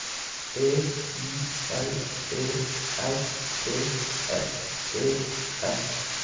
E I L E R T S E N